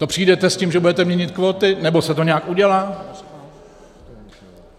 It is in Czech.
To přijdete s tím, že budete měnit kvóty, nebo se to nějak udělá?